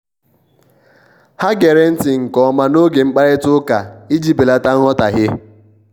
ha gere nti nke ọma n'oge mkparịta ụka iji belata nghọtahie.